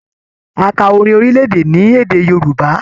A ká orin orilẹ-èdè ní èdè Yorùbá.